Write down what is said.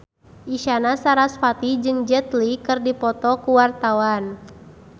Isyana Sarasvati jeung Jet Li keur dipoto ku wartawan